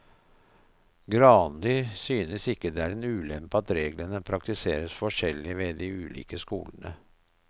Granli synes ikke det er en ulempe at reglene praktiseres forskjellig ved de ulike skolene.